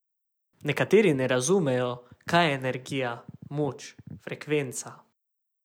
Nekateri ne razumejo, kaj je energija, moč, frekvenca ...